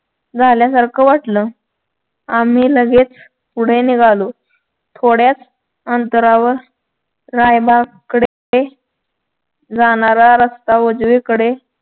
झाल्यासारखं वाटलं आम्ही लगेच पुढे निघालो थोड्याच अंतरावर रायबाकडे जाणारा रस्ता उजवीकडे